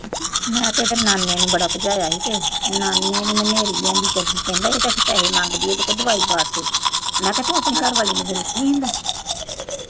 ਮੈਂ ਤਾਂ ਨਾਨੇ ਨੂੰ ਬੜਾ ਭਜਾਇਆ ਸੀ ਤੇ ਨਾਨੇ ਨੇ ਨੇਰੀ ਲਿਆਂਦੀ ਤੇ ਕਹਿੰਦਾ ਪੈਸੇ ਮੰਗਦੀ ਆ ਤੇ ਦਵਾਈ ਪਾ ਤੀ। ਮੈਂ ਕਿਹਾ ਤੂੰ ਆਪਣੀ ਘਰ ਆਲੀ ਨੂੰ ਪੈਸੇ ਨੀ ਦਿੰਦਾ।